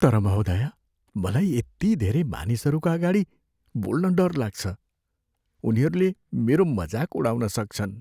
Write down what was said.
तर महोदया, मलाई यति धेरै मानिसहरूका अगाडि बोल्न डर लाग्छ। उनीहरूले मेरो मजाक उडाउन सक्छन्।